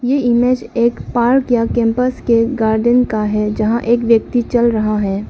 ये इमेज एक पार्क या कैंपस के गार्डन का है जहां एक व्यक्ति चल रहा है।